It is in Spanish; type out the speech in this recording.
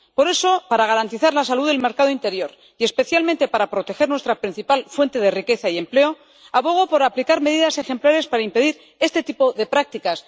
Por eso, para garantizar la salud del mercado interior y, especialmente, para proteger nuestra principal fuente de riqueza y empleo, abogo por aplicar medidas ejemplares para impedir este tipo de prácticas.